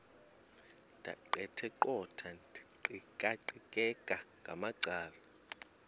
ndaqetheqotha ndiqikaqikeka ngamacala